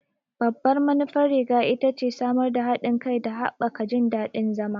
Babban manufar riga ita ce samar da haɗin kai da haɓaka jin daɗin zama.